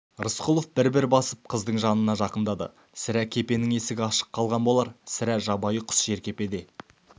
рысқұлов бір-бір басып қыздың жанына жақындады сірә кепенің есігі ашық қалған болар сірә жабайы құс жеркепеде